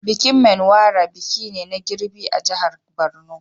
Bikin Menwara biki ne na girbi a jihar Borno.